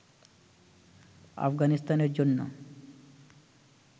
আফগানিস্তানের জন্য